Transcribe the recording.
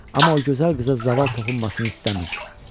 Amma o gözəl qıza zaval toxunmasını istəmirdi.